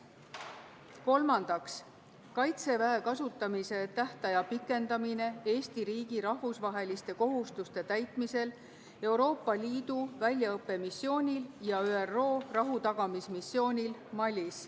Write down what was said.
Kolmandaks, Kaitseväe kasutamise tähtaja pikendamine Eesti riigi rahvusvaheliste kohustuste täitmisel Euroopa Liidu väljaõppemissioonil ja ÜRO rahutagamismissioonil Malis.